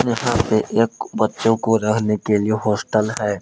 पे एक बच्चों को रहने के लिए हॉस्टल है।